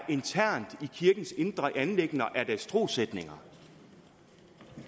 internt i kirkens indre anliggender er dens trossætninger